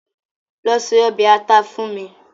Lọ se ọbẹ̀ ata fún mi